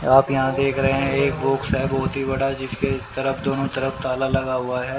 आप यहां देख रहे हैं एक बुक्स बहोत ही बड़ा जिसके तरफ दोनों तरफ ताला लगा हुआ है।